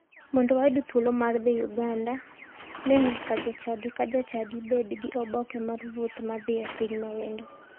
Mondo wayud thuolo mar dhi uganda, ne nyaka jachadi ka jachadi bed gi oboke mag wuoth mar dhi e piny ma wendo.